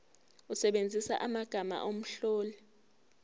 usebenzise amagama omlobi